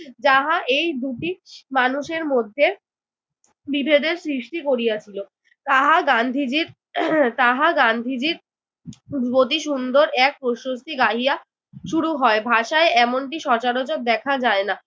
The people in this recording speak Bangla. যাহা এই দুটি মানুষের মধ্যে বিভেদের সৃষ্টি করিয়াছিল। তাহা গান্ধীজির তাহা গান্ধীজির অতি সুন্দর এক প্রশস্তি গাহিয়া শুরু হয়। ভাষায় এমনটি সচরাচর দেখা যায় না।